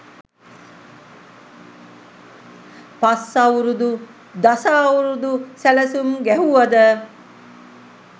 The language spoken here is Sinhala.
පස් අවුරුදු දස අවුරුදු සැළසුම් ගැහුවද?